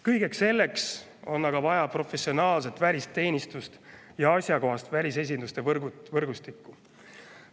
Kõigeks selleks on aga vaja professionaalset välisteenistust ja asjakohast välisesinduste võrgustikku.